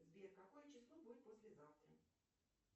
сбер какое число будет послезавтра